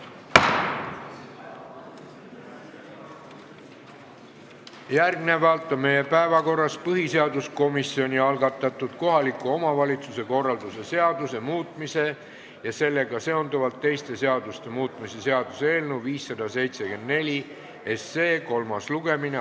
Järgmisena on meie päevakorras põhiseaduskomisjoni algatatud kohaliku omavalitsuse korralduse seaduse muutmise ja sellega seonduvalt teiste seaduste muutmise seaduse eelnõu 574 kolmas lugemine.